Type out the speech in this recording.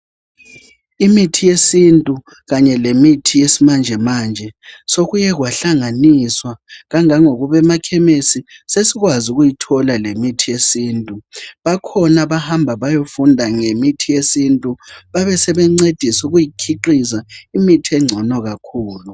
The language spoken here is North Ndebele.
Imithi yesintu kanye lemithi yesimanjemanje sekuye kwahlanganiswa kangangokuba emakhesi sesikwazi ukuyithola lemithi yesintu bakhona abahamba beyefunda ngemithi yesintu babesebencedisa ukuyikhiqiza imithi engcono kakhulu